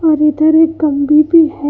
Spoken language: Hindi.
और इधर एक भी है।